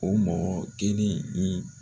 O mɔgɔ kelen in ni